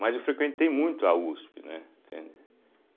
Mas eu frequentei muito a uspe, né? Entende